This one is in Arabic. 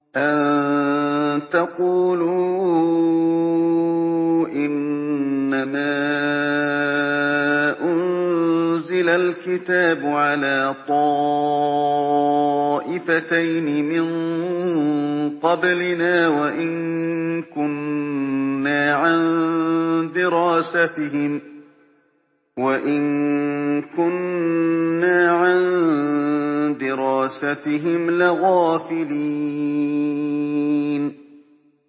أَن تَقُولُوا إِنَّمَا أُنزِلَ الْكِتَابُ عَلَىٰ طَائِفَتَيْنِ مِن قَبْلِنَا وَإِن كُنَّا عَن دِرَاسَتِهِمْ لَغَافِلِينَ